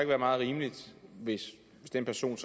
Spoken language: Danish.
være meget rimeligt hvis den person